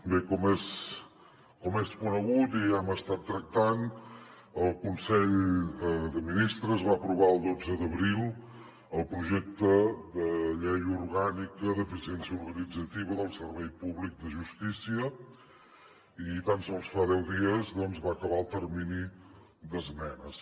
bé com és conegut i ho hem estat tractant el consell de ministres va aprovar el dotze d’abril el projecte de llei orgànica d’eficiència organitzativa del servei públic de justícia i tan sols fa deu dies doncs va acabar el termini d’esmenes